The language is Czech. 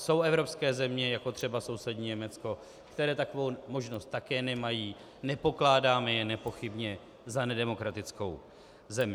Jsou evropské země, jako třeba sousední Německo, které takovou možnost také nemají, nepokládáme je nepochybně za nedemokratickou zemi.